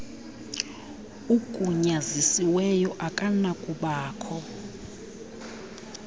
ugunyazisiweyo akanakuba kho